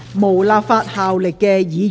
無立法效力的議員議案。